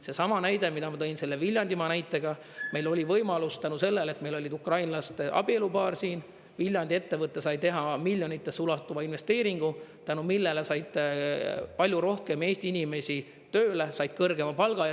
Seesama näide, mille ma tõin, Viljandimaa näide – meil oli võimalus tänu sellele, et meil oli ukrainlaste abielupaar siin, Viljandi ettevõte sai teha miljonitesse ulatuva investeeringu, tänu millele sai palju rohkem Eesti inimesi tööle, sai kõrgema palga.